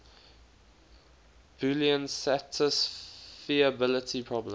boolean satisfiability problem